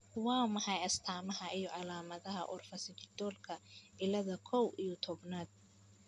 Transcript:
Waa maxay astamaha iyo calaamadaha Orofaciodigitalka cilada kow iyo tobnaad?